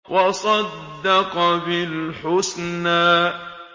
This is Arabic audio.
وَصَدَّقَ بِالْحُسْنَىٰ